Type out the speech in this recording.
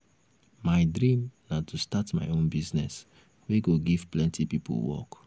my dream na to start my own business wey go give plenty people work.